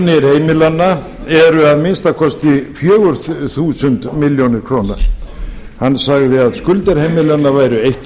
hinu að eignir heimilanna eru á fjögur þúsund milljarðar króna hann sagði að skuldir heimilanna væru